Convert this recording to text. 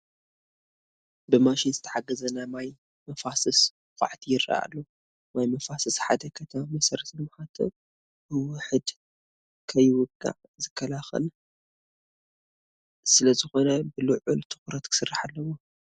ብማሽን ዘተሓገዘ ናይ ማይ መፋስስ ዃዕቲ ይርአ ኣሎ፡፡ ማይ መፋስስ ሓደ ከተማ መሰረተ ልምዓቱ ብውሕድ ከይውቃዕ ዝከላኸል ስለዝኾነ ብልዑል ትኹረት ክስራሕ ኣለዎ፡፡